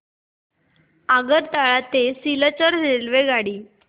आगरतळा ते सिलचर रेल्वेगाडी